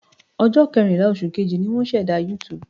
Ọjọ́ kẹrìnlá, oṣù Kejì, ni wọ́n ṣẹ̀dá YouTube.